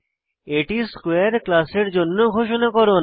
এটি স্কোয়ারে ক্লাসের জন্য ঘোষণাকরণ